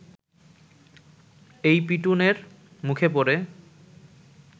এই পিটুনের মুখে পড়ে